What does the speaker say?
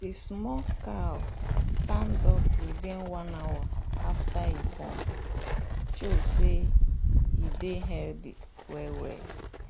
the small cow stand up within one hour after e born show say e dey healthy well well.